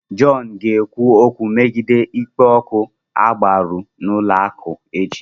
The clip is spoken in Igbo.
John ga-ekwu okwu megide ịkpa oke agbụrụ n'ụlọụka echi.